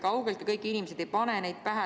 Kaugeltki kõik inimesed ei pannud neid pähe.